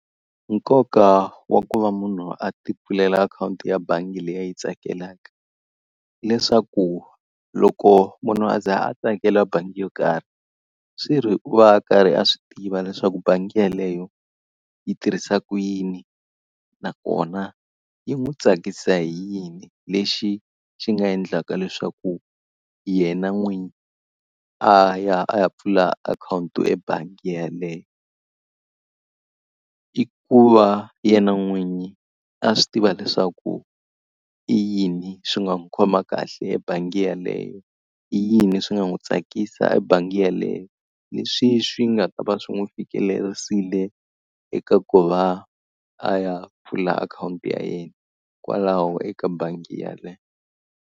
Nkoka wa ku va munhu a ti pfulela akhawunti ya bangi leyi a yi tsakelaka, hileswaku loko munhu a za a tsakela bangi yo karhi, swi ri u va a karhi a swi tiva leswaku bangi yeleyo yi tirhisa ku yini nakona yi n'wi tsakisa hi yini lexi xi nga endlaka leswaku yena n'winyi a ya a ya pfula akhawunti ebangi yeleyo. I ku va yena n'winyi a swi tiva leswaku i yini swi nga n'wi khoma kahle ebangi yaleyo, i yini swi nga n'wi tsakisa hi bangi yeleyo, leswi swi nga ta va swi n'wi fikelerisile eka ku va a ya pfula akhawunti ya yena kwalaho eka bangi yeleyo.